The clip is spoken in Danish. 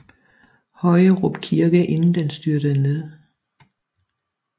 Højerup kirke inden den styrtede ned